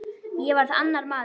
Ég varð annar maður.